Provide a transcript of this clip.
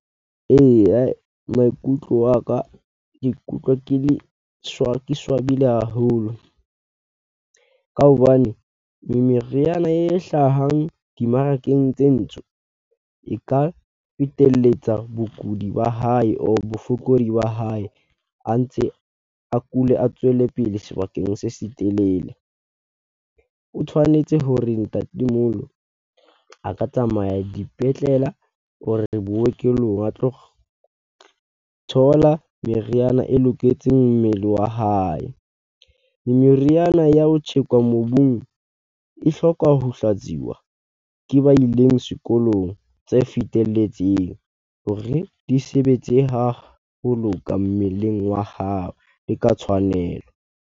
Eya, maikutlo a ka ke ikutlwa ke le ke swabile haholo ka hobane meriana e hlahang dimmarakeng tse ntsho, e ka feteletsa bokudi ba hae or bofokodi ba hae a ntse a kule, a tswele pele sebakeng se setelele. O tshwanetse hore ntatemoholo a ka tsamaya dipetlele or bookelong a tlo thola meriana e loketseng mmele wa hae. Meriana ya ho tjhekwa mobung e hloka ho hlatsiwa ke ba ileng sekolong tse fetelletseng hore di sebetse haholo ka mmeleng wa hao le ka tshwanelo.